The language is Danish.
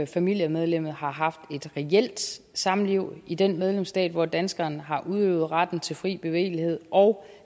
familiemedlemmet har haft et reelt samliv i den medlemsstat hvor danskeren har udøvet retten til fri bevægelighed og